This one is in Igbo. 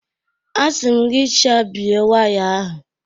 A sim gị chabie waya ahụ.!